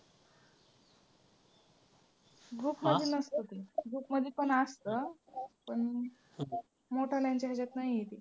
group मध्ये नसतं ते group मध्ये पण असतं, पण, मोठ्याल्यांच्या ह्याच्यात नाही आहे ते.